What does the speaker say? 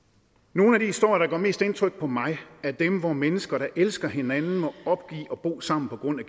nogle af de historier der gør mest indtryk på mig er dem hvor mennesker der elsker hinanden må opgive at bo sammen på grund af